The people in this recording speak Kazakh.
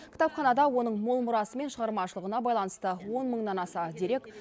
кітапханада оның мол мұрасы мен шығармашылығына байланысты он мыңнан аса дерек